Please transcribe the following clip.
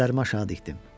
Gözlərimi aşağı dikdim.